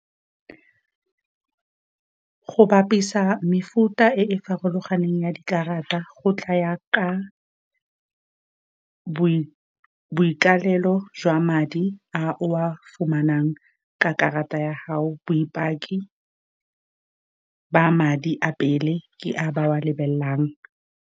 Go bapisa mefuta e e farologaneng ya dikarata, go tlaya ka boikalelo jwa madi a o a fumanang ka karata ya hao, boipaki ba madi a pele ke a ba wa lebelelang.